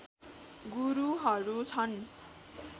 गुरुहरू छन्